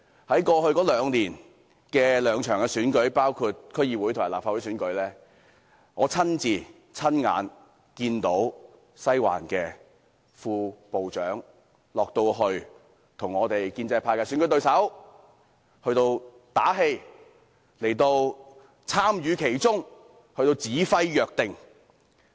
在過去兩年舉行的兩場選舉中，包括區議會和立法會選舉，我親眼看見"西環"的副部長落區為建制派的選舉對手打氣，並參與其中，指揮若定。